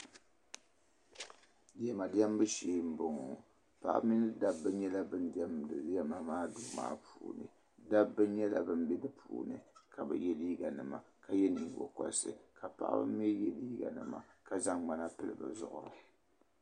Diɛma diɛmbu sheei m bɔŋɔ paɣaba mini dabba nyɛla ban diɛmda diɛma maa duu puuni dabba nyɛla ban bɛni n yɛ liiga nima ka yɛ nyingokorisi ka paɣaba mii yɛ liiga nima ka zaŋ ŋmana pili bɛ zuɣuri.